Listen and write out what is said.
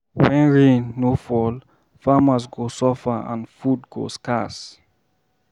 When rain no fall, farmers go suffer and food go scarce.